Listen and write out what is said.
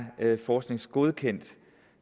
forskningsgodkendt